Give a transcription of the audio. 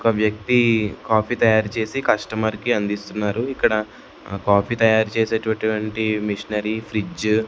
ఒక వ్యక్తి కాఫీ తయారు చేసి కస్టమర్ కి అందిస్తున్నారు ఇక్కడ కాఫీ తయారు చేసేటటువంటి మిషనరీ ఫ్రిడ్జ్ --